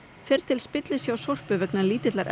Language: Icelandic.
fer til spillis hjá Sorpu vegna lítillar